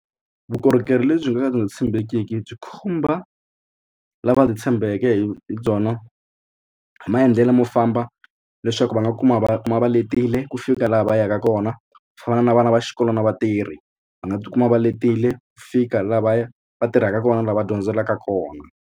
Vukorhokeri lebyi nga tshembekiki byi khumba lava byi tshembeke hi byona hi maendlelo mo famba leswaku va nga kuma va kuma va letile ku fika laha va yaka kona ku fana na vana va xikolo na vatirhi va nga tikuma va letile ku fika laha va ya va tirhaka kona lava dyondzelaka kona.